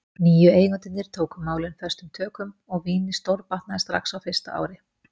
Nýju eigendurnir tóku málin föstum tökum og vínið stórbatnaði strax á fyrsta ári.